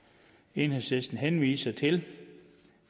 enhedslisten henviser til